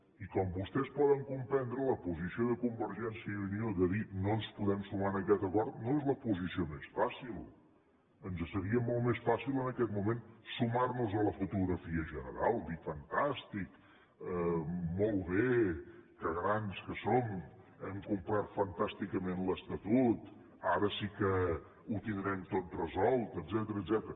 i com vostès poden comprendre la posició de convergència i unió de dir no ens podem sumar a aquest acord no és la posició més fàcil ens seria molt més fàcil en aquest moment sumarnos a la fotografia general dir fantàstic molt bé que grans que som hem complert fantàsticament l’estatut ara sí que ho tindrem tot resolt etcètera